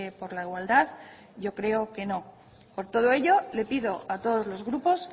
por la igualdad yo creo que no por todo ello le pido a todos los grupos